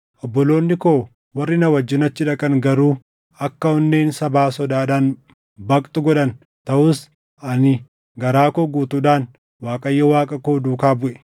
obboloonni koo warri na wajjin achi dhaqan garuu akka onneen sabaa sodaadhaan baqxu godhan. Taʼus ani garaa koo guutuudhaan Waaqayyo Waaqa koo duukaa buʼe.